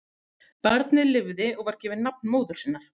Barnið lifði og var gefið nafn móður sinnar.